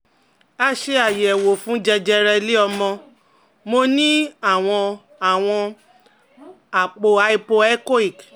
A ṣe àyẹ̀wò fún jẹjẹrẹ ile omo, mo ní àwọn àwọn àpò hypo echoic